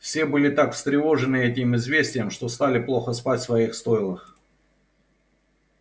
все были так встревожены этим известием что стали плохо спать в своих стойлах